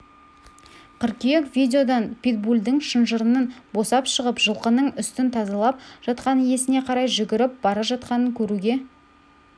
қыркүйек видеодан питбульдің шынжырынан босап шығып жылқының үстін тазалап жатқан иесіне қарай жүгіріп бара жатқанын көруге